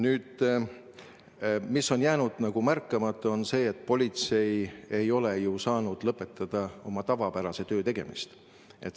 Nüüd, mis on jäänud märkamata, on see, et politsei ei ole ju saanud lõpetada oma tavapärase töö tegemist.